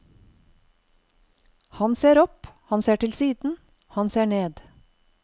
Han ser opp, han ser til siden, han ser ned.